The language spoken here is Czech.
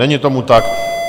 Není tomu tak.